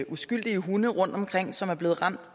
uskyldige hunde rundtomkring som bliver ramt